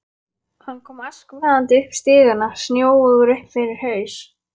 Hann kom askvaðandi upp stigana, snjóugur upp fyrir haus.